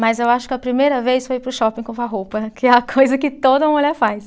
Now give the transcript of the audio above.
Mas eu acho que a primeira vez foi ir para o shopping comprar roupa, que é a coisa que toda mulher faz.